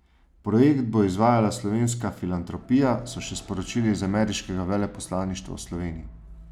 Projekt bo izvajala Slovenska filantropija, so še sporočili z ameriškega veleposlaništva v Sloveniji.